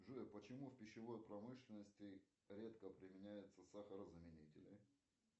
джой почему в пищевой промышленности редко применяются сахарозаменители